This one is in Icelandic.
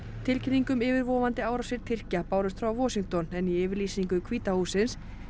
tilkynning um yfirvofandi árásir Tyrkja bárust frá Washington en í yfirlýsingu hvíta hússins